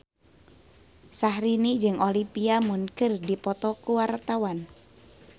Syahrini jeung Olivia Munn keur dipoto ku wartawan